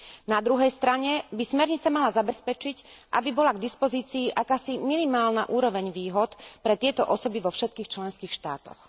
Na druhej strane by smernica mala zabezpečiť, aby bola k dispozícii akási minimálna úroveň výhod pre tieto osoby vo všetkých členských štátoch.